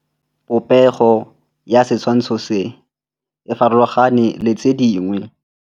Popêgo ya setshwantshô se, e farologane le tse dingwe.